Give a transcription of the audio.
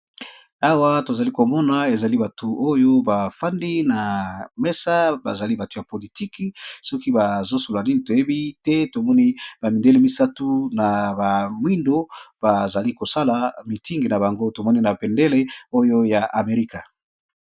Awa to zali ko mona ezali batu oyo bafandi na mesa ba zali batu ya politique soki bazo solola nini toyebi te, to moni ba mindele misatu na bamwindo ba zali ko sala mitingi na bango to moni na bendele oyo ya amerika .